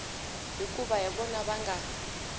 hikuva hi vona va nga